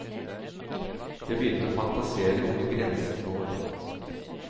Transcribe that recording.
Jeg begynte å fantasere om hvor grensen går.